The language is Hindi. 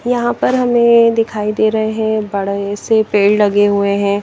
यहां पर हमें दिखाई दे रहे हैं बड़े से पेड़ लगे हुए हैं।